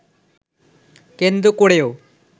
কেন্দ্র করেও